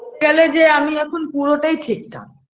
তালে যে আমি এখন পুরোটাই ঠিকঠাক